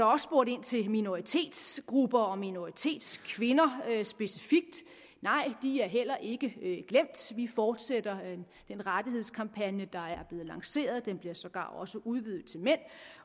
også spurgt ind til minoritetsgrupper og minoritetskvinder specifikt nej de er heller ikke glemt vi fortsætter den rettighedskampagne der er blevet lanceret den bliver sågar også udvidet til mænd